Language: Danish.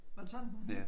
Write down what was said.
Var det sådan den hed?